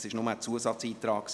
Das war nur ein Zusatzantrag.